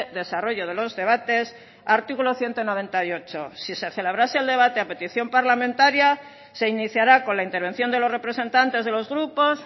desarrollo de los debates artículo ciento noventa y ocho si se celebrase el debate a petición parlamentaria se iniciará con la intervención de los representantes de los grupos